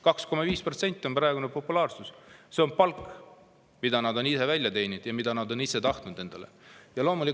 2,5% on nende praegune populaarsus – see on palk, mille nad on välja teeninud ja mida nad on ise endale tahtnud.